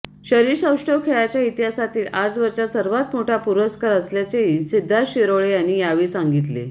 शरीरसौष्ठव खेळाच्या इतिहासातील आजवरचा सर्वात मोठा पुरस्कार असल्याचेही सिद्धार्थ शिरोळे यांनी यावेळी सांगितले